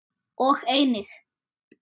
og einnig